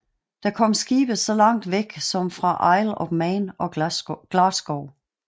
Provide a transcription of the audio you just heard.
Der kom skibe så langt væk fra som Isle of Man og Glasgow